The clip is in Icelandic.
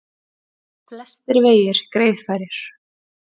Flestir vegir greiðfærir